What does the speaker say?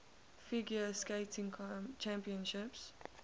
figure skating championships